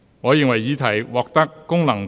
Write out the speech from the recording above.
我宣布議案獲得通過。